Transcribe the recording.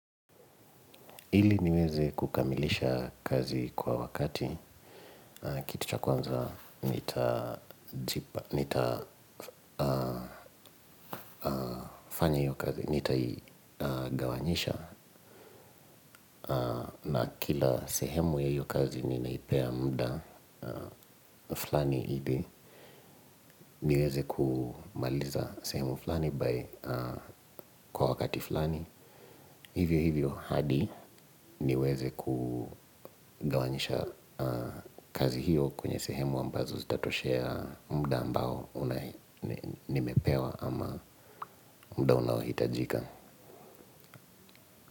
Ili niweze kukamilisha kazi kwa wakati, kitu cha kwanza nitajipa, nitafanya hiyo kazi, nitai gawanyisha na kila sehemu ya hiyo kazi ninaipea mda flani ili. Niweze kumaliza sehemu fulani bai kwa wakati fulani. Hivyo hivyo hadi niweze kugawanyisha kazi hiyo. Kwenye sehemu ambazo zitatoshea mda ambao nimepewa ama mda unaohitajika.